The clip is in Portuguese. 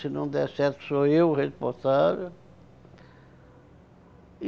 não der certo, sou eu o responsável.